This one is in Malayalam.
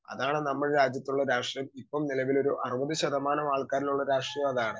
സ്പീക്കർ 2 അതാണ് നമ്മുടെ രാജ്യത്തുള്ള രാഷ്ട്രീയം ഇപ്പം നിലവിലൊരു അറുപതു ശതമാനം ആൾക്കാരുള്ള രാഷ്ട്രീയം അതാണ്.